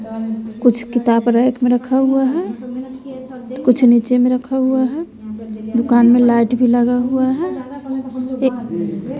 कुछ किताब रैक में रखा हुआ है कुछ नीचे में रखा हुआ है दुकान में लाएट भी लगा हुआ है एक --